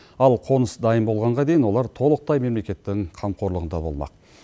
ал қоныс дайын болғанға дейін олар толықтай мемлекеттің қамқорлығында болмақ